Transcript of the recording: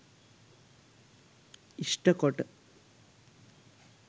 ඉෂ්ට කොට